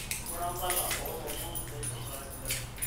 ng'ura mbala oolomon oipirta kibaki